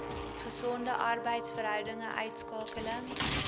gesonde arbeidsverhoudinge uitskakeling